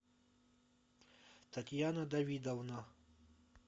татьяна давидовна